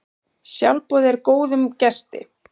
Sjálfboðið er góðum gesti.